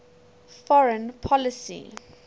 foreign policy